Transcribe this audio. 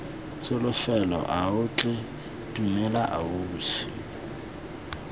tsholofelo ao tlhe dumela ausi